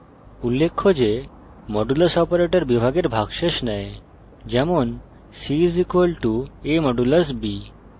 উল্লেখ্য যে modulus operator বিভাগের ভাগশেষ দেয় যেমন c = a % b;